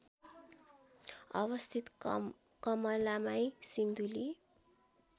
अवस्थित कमलामाई सिन्धुली